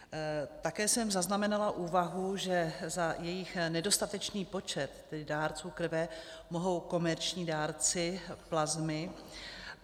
Také jsem zaznamenala úvahu, že za jejich nedostatečný počet, těch dárců krve, mohou komerční dárci plazmy.